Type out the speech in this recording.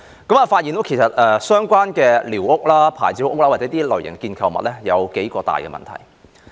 我發現該處的寮屋、"牌照屋"或構築物有數大問題。